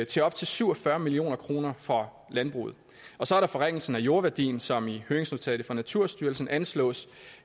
til op til syv og fyrre million kroner for landbruget og så er der forringelsen af jordværdien som i høringsnotatet fra naturstyrelsen anslås